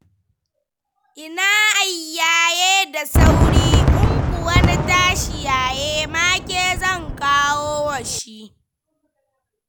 Ina ai yaye da saura, in kuwa na tashi yaye ma ke zan kawowa shi.